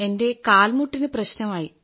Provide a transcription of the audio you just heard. എന്റെ കാൽമുട്ടിന് പ്രശ്നമായി